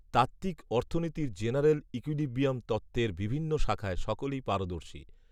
তাত্ত্বিক অর্থনীতির general equilibrium তত্ত্বের বিভিন্ন শাখায় সকলেই পারদর্শী